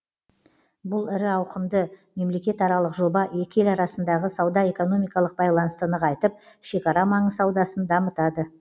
бұл ірі ауқымды мемлекетаралық жоба екі ел арасындағы сауда экономикалық байланысты нығайтып шекара маңы саудасын дамытады